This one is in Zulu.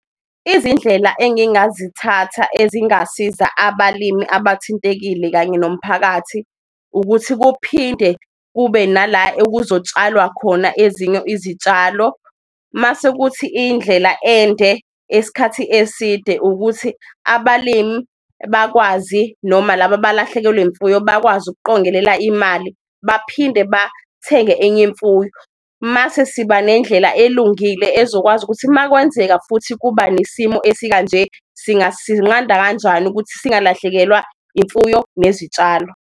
Izindlela engingazithatha ezingasiza abalimi abathintekile kanye nomphakathi ukuthi kuphinde kube nala ekuzotshalwa khona ezinye izitshalo, mase kuthi indlela ende esikhathi eside ukuthi abalimi bakwazi noma laba abalahlekelwe imfuyo bakwazi ukuqongelela imali, baphinde bathi njenge enye imfuyo. Mase siba nendlela elungile ezokwazi ukuthi makwenzeka futhi kuba nesimo esikanje, singasinqanda kanjani ukuthi singalahlekelwa imfuyo nezitshalo.